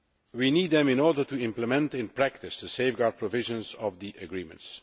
We need them in order to implement the safeguard provisions of the agreements.